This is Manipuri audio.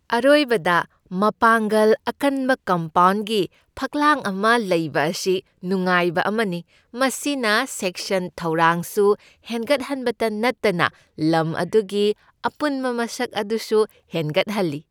ꯑꯔꯣꯏꯕꯗ ꯃꯄꯥꯡꯒꯜ ꯑꯀꯟꯕ ꯀꯝꯄꯥꯎꯟꯒꯤ ꯐꯛꯂꯥꯡ ꯑꯃ ꯂꯩꯕ ꯑꯁꯤ ꯅꯨꯡꯉꯥꯏꯕ ꯑꯃꯅꯤ ꯃꯁꯤꯅ ꯁꯦꯛꯁꯟ ꯊꯧꯔꯥꯡꯁꯨ ꯍꯦꯟꯒꯠꯍꯟꯕꯇ ꯅꯠꯇꯅ ꯂꯝ ꯑꯗꯨꯒꯤ ꯑꯄꯨꯟꯕ ꯃꯁꯛ ꯑꯗꯨꯁꯨ ꯍꯦꯟꯒꯠꯍꯜꯂꯤ ꯫